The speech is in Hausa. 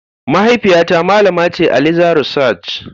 Mahaifiyata malama ce a leather research.